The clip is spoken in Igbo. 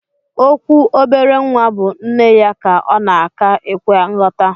Okwu obere nwa bu nneya ka ọnaka ekwe nyọta.